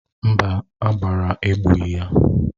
Mba, agbara egbughị ya.